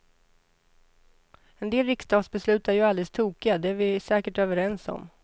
En del riksdagsbeslut är ju alldeles tokiga, det är vi säkert överens om.